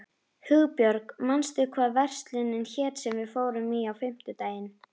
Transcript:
Hugbjörg, manstu hvað verslunin hét sem við fórum í á fimmtudaginn?